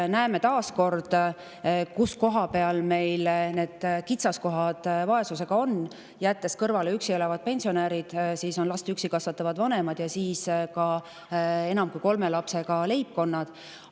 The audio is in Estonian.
Me näeme taas kord, kus meil on vaesuse puhul kitsaskohad: jättes kõrvale üksi elavad pensionärid, last üksi kasvatavatel vanematel ja enam kui kolme lapsega leibkondadel.